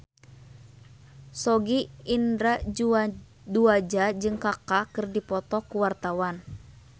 Sogi Indra Duaja jeung Kaka keur dipoto ku wartawan